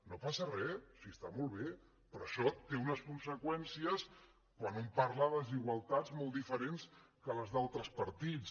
no passa res si està molt bé però això té unes conseqüències quan un parla de desigualtats molts diferents que les dels altres partits